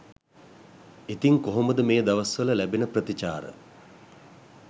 ඉතිං කොහොමද මේ දවස්වල ලැබෙන ප්‍රතිචාර